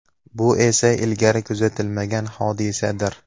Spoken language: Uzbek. Bu esa ilgari kuzatilmagan hodisadir.